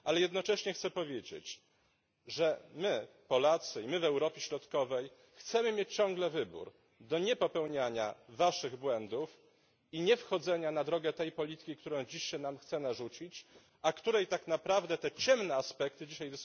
Ale jednocześnie chcę powiedzieć, że my Polacy i my w Europie Środkowej chcemy mieć ciągle wybór niepopełniania waszych błędów i niewchodzenia na drogę tej polityki, którą dziś się nam chce narzucić, a której tak naprawdę te ciemne aspekty dzisiaj